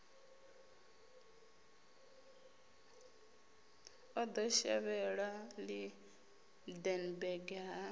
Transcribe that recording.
o ḓo shavhela lydenburg ha